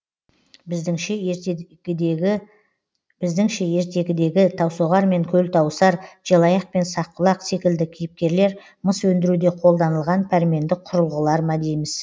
біздіңше ертегідегі таусоғар мен көлтауысар желаяқ пен саққұлақ секілді кейіпкерлер мыс өндіруде қолданылған пәрменді құрылғылар ма дейміз